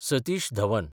Satish Dhawan